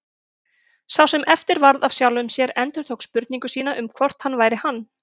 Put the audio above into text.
Sá sem eftir varð af sjálfum sér endurtók spurningu sína um hvort hann væri hann.